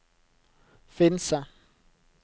Finse